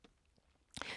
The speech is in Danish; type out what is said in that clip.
DR K